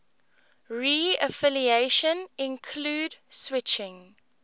reaffiliation include switching